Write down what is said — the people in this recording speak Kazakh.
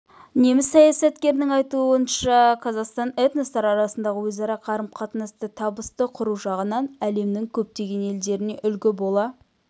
неміс саясаткерінің айтуынша қазақстан этностар арасындағы өзара қарым-қатынасты табысты құру жағынан әлемнің көптеген елдеріне үлгі бола